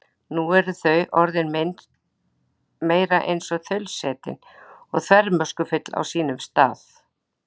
Nú eru þau orðin meira eins og þaulsætin og þvermóðskufull á sínum stað.